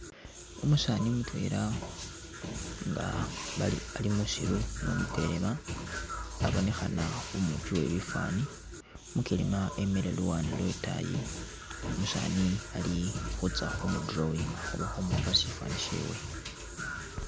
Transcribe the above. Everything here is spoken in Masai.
Umusaani mutwela nga bali ali musilo ni umukelema abonekhana umupi we bifaani ,umukelema emele luwande lwe itaayi ,umusaani ali khutsya khumu drawinga oba khu mupa sifaani shewe